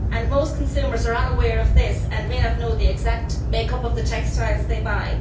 most consumers are unaware of this and may not know the exact make up of the textiles they buy.